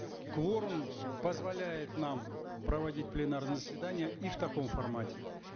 кворум позволяет нам проводить пленарные заседания и в таком формате